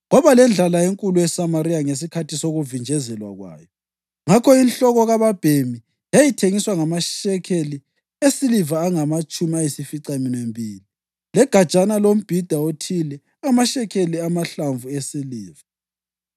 Kwaba lendlala enkulu eSamariya ngesikhathi sokuvinjezelwa kwayo; ngakho inhloko kababhemi yayithengiswa ngamashekeli esiliva angamatshumi ayisificaminwembili, legajana lombhida othile ngamashekeli amahlanu esiliva.